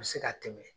U bɛ se ka tɛmɛ